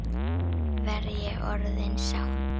Verð ég orðin sátt?